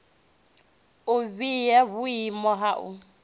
u vhea vhuimo ha u